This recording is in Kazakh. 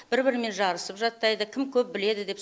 бір бірімен жарысып жаттайды кім көп біледі деп